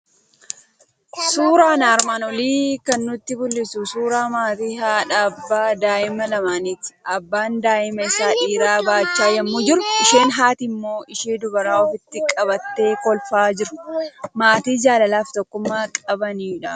Suuraana armaan olii kan nutti mul'isu suuraa maatii haadha, abbaa, daa'imman lamaaniiti. Abbaan daa'ima isa dhiiraa baachaa yommuu jiru, isheen haati immoo ishee dubaraa ofitti qabattee kolfaa jiru. Maatii jaalala fi tokkummaa qabaniiti.